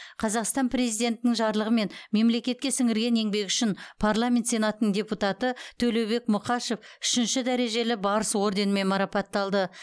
қазақстан президентінің жарлығымен мемлекетке сіңірген еңбегі үшін парламент сенатының депутаты төлеубек мұқашев үшінші дәрежелі барыс орденімен марапатталды